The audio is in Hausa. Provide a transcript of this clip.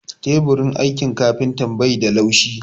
Teburin aikin kafintan bai da laushi